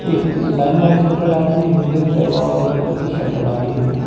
एक ने लाइन वाली शर्ट डाली है एक बंदे ने व्हाइट कलर की शर्ट डाली हुई है।